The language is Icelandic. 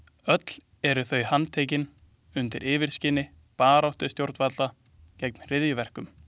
Öll eru þau handtekin undir yfirskini baráttu stjórnvalda gegn hryðjuverkum.